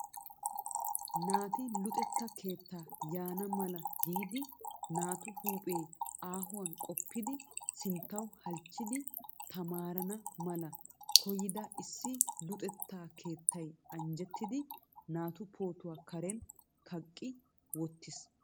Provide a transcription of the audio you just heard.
Naati luxetta keetta yaana mala giidi naatu huuphee aahuwan qopidi sinttaw halchchidi tamaara mala koyyida issi luxetta keettay anjjettida naatu pootuwa karen kaqqi wottiis.